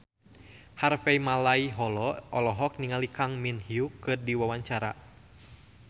Harvey Malaiholo olohok ningali Kang Min Hyuk keur diwawancara